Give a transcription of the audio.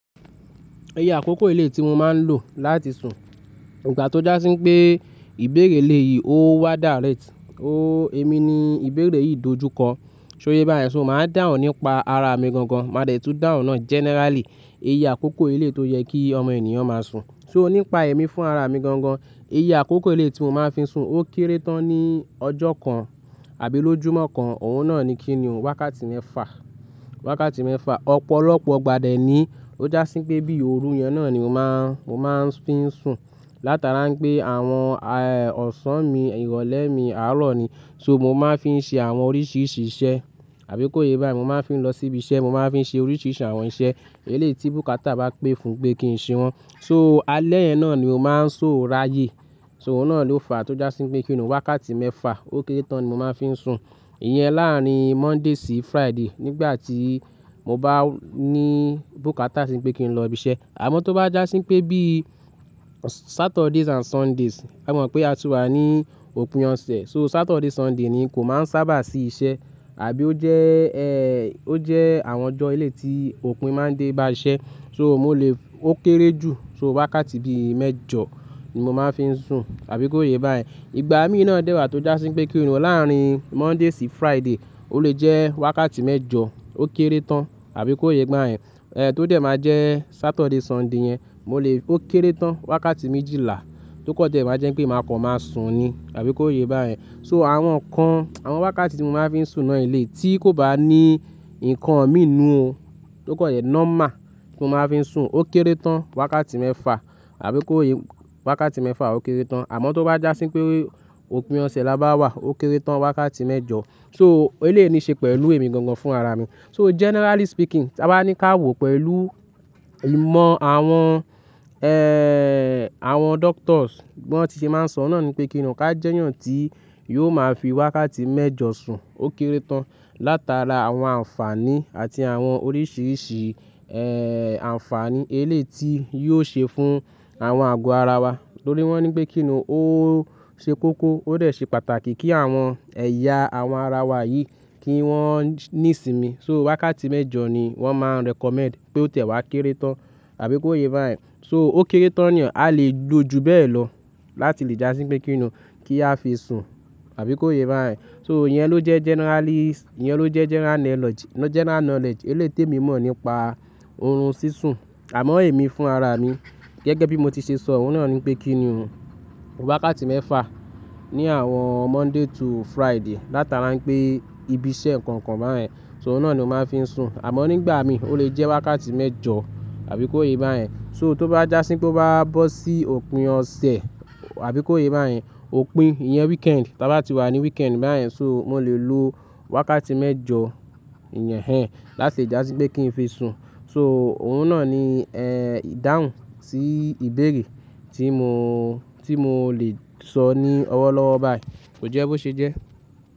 Iyẹ àkókò eléyìí tí mo máa ń lò láti sùn, ìgbà tó já sí pé ìbéèrè eléyìí ó wà dàréèt, ó ẹ̀mí ni ìbéèrè yìí dojúkọ, ṣó yé bá yẹn ṣo máa ń dáhùn nípa ara mi gangan, màá dẹ̀ tún dáhùn náà generally, iye àkókò eléyìí tó yẹ kí ọmọ ènìyàn máa sùn. So nípa ẹ̀mí fún ara mi gangan, iye àkókò eléyìí tí mo máa ń fi sùn ó kéré tán ní ọjọ́ kan àbí lójùmọ́ kan, òun náà ni kíni o wákàtí mẹ́fa, wákàtí mẹ́fa. Ọ̀pọ̀lọpọ̀ ìgbá dẹ̀ ni ó já sí pé bí òru yẹn náà ni mo máa, mo máa ń fi ń sùn. Látara pé àwọn, ẹ́, ọ̀sán mi ìrọ̀lẹ́ mi àárọ̀ ni, ṣo mo máa ń fi ṣe àwọn oríṣìíríṣìí iṣẹ́. Àbí kó yé bá yẹn mo máa ń fi lọ síbi iṣẹ́, mo máa ń fi ṣe oríṣìíríṣìí àwọn iṣẹ́. Eléyìí tí bùkátà bá pé fún pé kí n ṣe wọ́n. So alẹ́ yẹn náà ni mo máa ń so ráyé. So òun náà ló fa tó já sí pé kíni ohun wákàtí mẹ́fa ó kéré tán ni mo máa ń fi ń sùn. Iyẹn láàárín Monday sí Friday nígbà tí mo bá ní bùkátà sí pé kí n lọ ibi iṣẹ́. Àmọ́ tó bá já sí pé bí Saturdays and Sundays, a mọ̀ pé a ti wà ní òpin ọ̀sẹ̀, so Saturday, Sunday ni kò máa ń sábà sí iṣẹ́. Àbí ó jẹ́, ẹ́, ó jẹ́ àwọn ọjọ́ ilé tí òpin máa ń dé bá iṣẹ́. So mo lè ó kéré jù, ṣo wákàtí bí mẹ́jọ ni mo máa ń fi ń sùn, àbí kó yé bá yẹn. Ìgbà míì náà dẹ́wàá tó já sí pé kíni o láàárín Monday sí Friday ó lè jẹ́ wákàtí mẹ́jọ ó kéré tán àbí kó yé gba ẹ́n. Ẹ̀, tó dẹ̀ máa jẹ́ Saturday, Sunday yẹn, mo lè ó kéré tán wákàtí méjìlá tó kọ́ dẹ̀ máa jẹ́ pé màá kàn máa sùn ni, àbí kó yé bá yẹn. So àwọn kan, àwọn wákàtí tí mo máa ń fi sùn náà eléyìí tí kò bá ní nǹkan mí inú o. Tó kọ́ dẹ̀ normal tí mo máa ń fi sùn ó kéré tán wákàtí mẹ́fa àbí kó yé wákàtí mẹ́fa ó kéré tán. Àmọ́ tó bá já sí pé òpin ọ̀sẹ̀ la bá wà ó kéré tán wákàtí mẹ́jọ. So eléyìí ni ṣe pẹ̀lú èmi gangan fún ara mi. So jẹ́nẹ́rálí spikin, ta bá ní ká wò pẹ̀lú ìmọ̀ àwọn, ẹ́, àwọn doctors bí wọ́n ti ṣe máa ń sọ náà ni pé kíni o ká jẹ́yàn tí yóò máa fi wákàtí mẹ́jọ sùn ó kéré tán látara àwọn àǹfààní àti àwọn oríṣìíríṣìí, ẹ́, àǹfààní eléyìí tí yóò ṣe fún àwọn àgọ́ ara wa. Nítorí wọ́n ní pé kíni o ó ṣe kókó ó dẹ̀ ṣe pàtàkì kí àwọn ẹ̀yà àwọn ara wa yìí kí wọ́n ní ìsinmi. So wákàtí mẹ́jọ ni wọ́n máa ń recommend pé ó tiẹ̀ wá kéré tán àbí kó yé bá yẹn. So ó kéré tán ni o, a lè gbo ju bẹ́ẹ̀ lọ láti lè já sí pé kíni o kí a fi sùn àbí kó yé bá yẹn. So iyẹn ló jẹ́ generalis-- iyẹn ló jẹ́ jẹ́nẹ́rá nọlẹ̀j-general knowledge eléyìí tí èmi mọ̀ nípa orun sísùn. Àmọ́ èmi fún ara mi, gẹ́gẹ́ bí mo ti ṣe sọ o náà ni pé kíni o wákàtí mẹ́fa ní àwọn Monday to Friday látara pé ibi iṣẹ́ kànkan bá yẹn, ṣo òun náà ni mo máa ń fi sùn. Àmọ́ nígbà míì ó lè jẹ́ wákàtí mẹ́jọ àbí kó yé bá yẹn. So tó bá já sí pé ó bá bọ́ sí òpin ọ̀sẹ̀ àbí kó yé bá yẹn, òpin, iyẹn weekend, tí a bá ti wà ní weekend bá yẹn ṣo mo lè lo wákàtí mẹ́jọ iyẹn ẹ́n láti já sí pé kí n fi sùn. So òun náà ni, ẹ́, dáhùn sí ìbéèrè tí mo, tí mo lè sọ ní ọwọ́ lọ́wọ́ bá yẹn. Kò jẹ́ bó ṣe jẹ́?